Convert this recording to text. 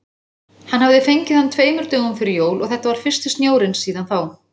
Hann hafði fengið hann tveimur dögum fyrir jól og þetta var fyrsti snjórinn síðan þá.